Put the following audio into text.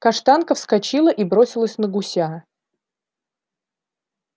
каштанка вскочила и бросилась на гуся